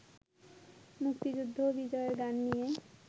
মুক্তিযুদ্ধ ও বিজয়ের গান নিয়ে